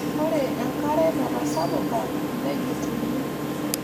Ore enkare natasapuka nejutuni.